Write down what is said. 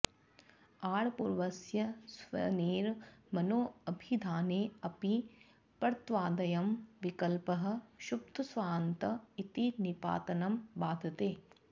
आङ्पूर्वस्य स्वनेर् मनो ऽभिधाने ऽपि परत्वादयं विकल्पः क्षुब्धस्वान्त इति निपातनं बाधते